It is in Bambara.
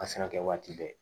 A se ka kɛ waati bɛɛ